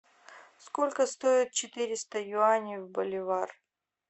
сколько стоит четыреста юаней в боливар